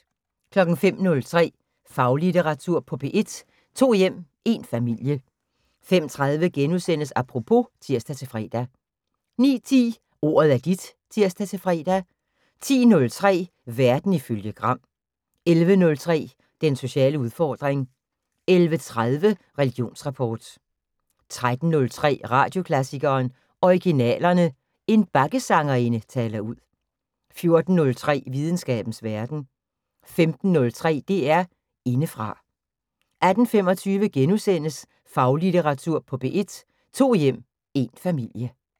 05:03: Faglitteratur på P1: To hjem – én familie 05:30: Apropos *(tir-fre) 09:10: Ordet er dit (tir-fre) 10:03: Verden ifølge Gram 11:03: Den sociale udfordring 11:30: Religionsrapport 13:03: Radioklassikeren: Originalerne. En bakkesangerinde taler ud 14:03: Videnskabens Verden 15:03: DR Indefra 18:25: Faglitteratur på P1: To hjem – én familie *